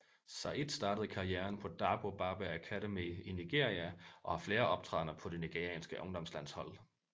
Said startede karrieren på Dabo Babe Academy i Nigeria og har flere optrædener på de nigerianske ungdomslandshold